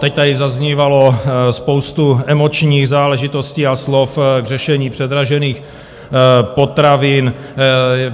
Teď tady zaznívalo spoustu emočních záležitostí a slov k řešení předražených potravin.